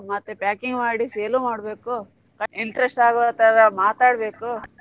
ಮತ್ತೆ packing ಮಾಡಿ sale ಮಾಡ್ಬೇಕು interest ಆಗುವ ತರಾ ಮಾತಾಡ್ಬೇಕು.